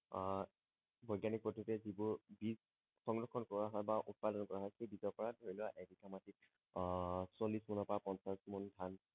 আহ বৈজ্ঞানিক পদ্ধতিৰে যিবোৰ বীজ সংৰক্ষণ কৰা হয় বা উৎপাদন কৰা হয় সেই বীজৰ পৰা ধৰি লোৱা এবিঘা মাটিত আহ চল্লিশ পোন পা পঞ্চাছ পোন ধান